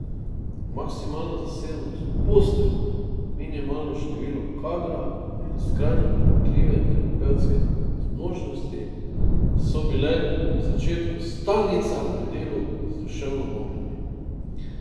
Maksimalna zasedenost postelj, minimalno število kadra in skrajno pomanjkljive terapevtske zmožnosti so bile v začetku stalnica pri delu z duševno bolnimi.